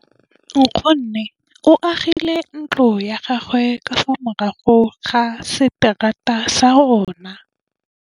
Nkgonne o agile ntlo ya gagwe ka fa morago ga seterata sa rona.